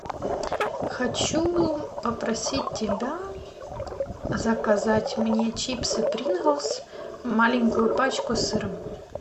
хочу попросить тебя заказать мне чипсы принглс маленькую пачку с сыром